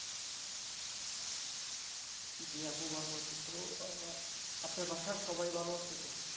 জি আপু ভালো আছি তো আহ আপনার বাসার সবাই ভালো আছে তো